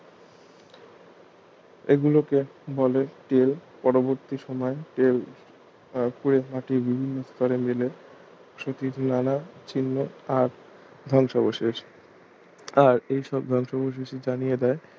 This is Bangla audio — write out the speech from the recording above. এগুলোকে বলে টেল পরবর্তী সময়ে টেল খুঁড়ে মাটির বিভিন্ন স্তরে মেলে সহিত নানা চিহ্ন আর ধ্বংসাবশেষ আর এইসব ধ্বংসাবশেষই জানিয়ে দেয়